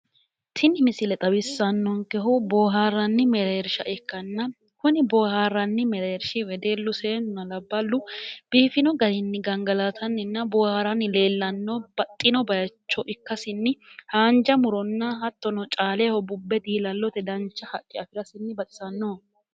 Tini misile xawissannonkehu boohaarranni mereershsha ikkanna kuni boohaarranni mereershshi wedellu seennunaa labballu biifino garinni gangalaatanninna booharanni leellanno baxxino bayiicho ikkasinni haanja muronna hattono caaleho bubbe diilallote dancha haqqe afirasinni baxisannoho.